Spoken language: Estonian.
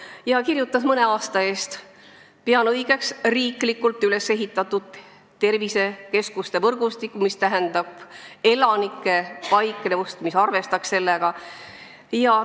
Ta kirjutas mõne aasta eest: "Pean õigeks ka riiklikult ülesehitatud tervisekeskuste võrgustikku, mis arvestab elanike paiknemist ja tegelikku vajadust.